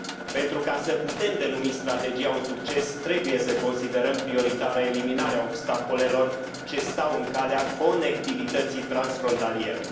Pentru ca să putem denumi strategia un succes, trebuie să considerăm prioritară eliminarea obstacolelor ce stau în calea conectivității transfrontaliere.